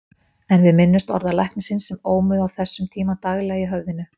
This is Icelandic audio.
En við minntumst orða læknisins sem ómuðu á þessum tíma daglega í höfðinu.